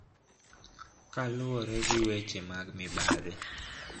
Kaluwore gi weche mag mibadhi